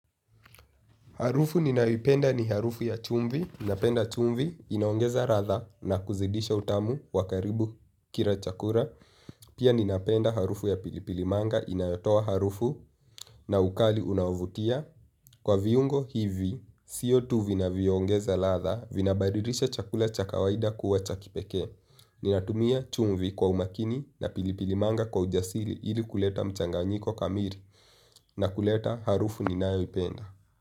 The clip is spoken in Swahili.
Harufu ninayoipenda ni harufu ya chumvi. Ninapenda chumvi, inaongeza ladha na kuzidisha utamu wakaribu kila chakula. Pia ninapenda harufu ya pilipilimanga, inayotoa harufu na ukali unavutia. Kwa viungo hivi, sio tu vinavyoongeza ladha, vinabadilisha chakula cha kawaida kuwa cha kipekee. Ninatumia chumvi kwa umakini na pilipilimanga kwa ujasiri ili kuleta mchanganyiko kamili. Nakuleta harufu ninayoipenda.